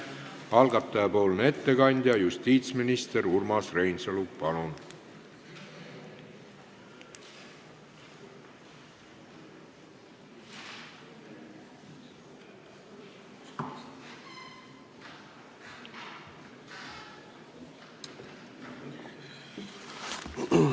Algataja ettekandja justiitsminister Urmas Reinsalu, palun!